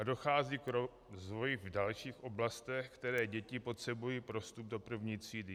A dochází k rozvoji v dalších oblastech, které děti potřebují pro vstup do první třídy.